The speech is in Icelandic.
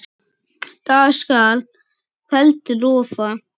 Dag skal að kveldi lofa.